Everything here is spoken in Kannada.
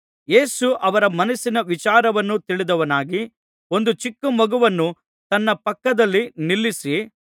ಯೇಸು ಅವರ ಮನಸ್ಸಿನ ವಿಚಾರವನ್ನು ತಿಳಿದವನಾಗಿ ಒಂದು ಚಿಕ್ಕಮಗುವನ್ನು ತನ್ನ ಪಕ್ಕದಲ್ಲಿ ನಿಲ್ಲಿಸಿ